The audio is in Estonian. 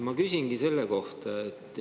Ma küsingi selle kohta.